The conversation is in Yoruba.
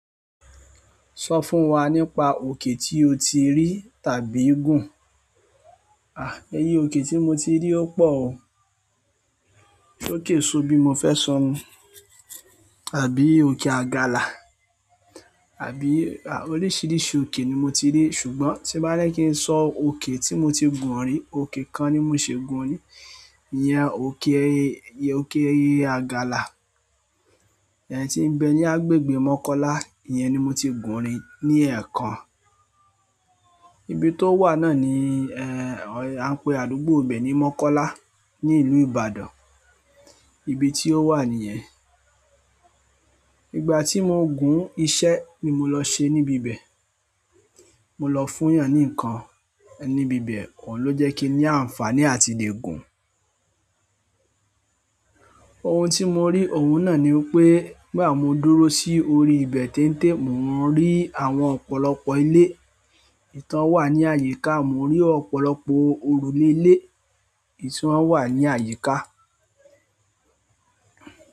Sọ fún wa nípa òkè tí o ti rí tàbí gùn. À, ẹye òkè tí mo ti rí ó pọ̀ o. Se òkè so bí mo fẹ́ sọ nu àbí òkè àgalà àbí a oríṣìíríṣìí òkè ni mo ti rí ṣùgbọ́n tí n bá ní kí n sọ òkè tí mo ti gùn rí, òkè kan ni mọ̀ ṣi gùn rí, ìyẹn òkè ẹyẹ, òkè ẹyẹ àgalà. Ẹ̀yi tí ń bẹ ní agbègbè Mọ́kọ́lá, ìyẹn ni mo ti gùn rí ní ẹ̀ẹ̀kan. Ibi tó wà náà ni ẹ́ ẹ a ń pè àdúgbò ibe ni Mọ́kọ́lá ní ìlú Ìbàdàn, ibi tí ó wà níyẹn. Ìgbà tí mo gùn iṣẹ́ ni mo lọ ṣe níbi ibẹ̀. Mo lọ fún yàn ní ǹkan níbi ibẹ̀, òun ló jẹ́ kí ní àǹfààní àti le gùn. Ohun tí mo rí ohun náà ni wi pé, gba mo dúró sí orí ibẹ̀ teń-te, mo n rí àwọn ọ̀pọ̀lọpọ̀ ilé tàn wà ní àyíká, mo n rí ọ̀pọ̀lọpọ̀ òrùlé ìle èyí tàn wà ní àyíká.